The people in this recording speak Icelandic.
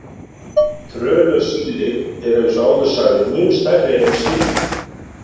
Trönusíli eru, eins og áður sagði, mun stærri en hin sílin.